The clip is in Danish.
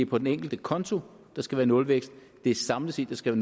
på den enkelte konto skal være nulvækst det er samlet set der skal